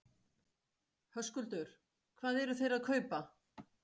Höskuldur: Hvað eru þeir að kaupa?